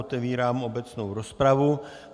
Otevírám obecnou rozpravu.